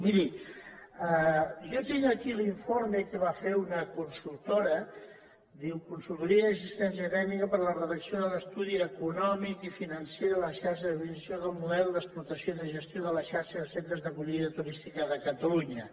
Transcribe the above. miri jo tinc aquí l’informe que va fer una consultora diu consultoria d’assistència tècnica per a la redacció de l’estudi econòmic i financer de la xarxa d’administració del model d’explotació i de gestió de la xarxa de centres d’acollida turística de catalunya